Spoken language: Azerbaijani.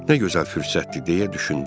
Nə gözəl fürsətdir deyə düşündüm.